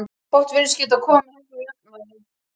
Fátt virðist geta komið henni úr jafnvægi.